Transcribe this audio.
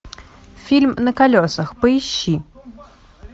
фильм на колесах поищи